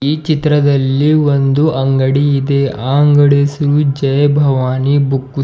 ಈ ಚಿತ್ರದಲ್ಲಿ ಒಂದು ಅಂಗಡಿ ಇದೆ ಆ ಅಂಗಡಿ ಹೆಸರು ಜೈ ಭವಾನಿ ಬುಕ್ ಶ್ --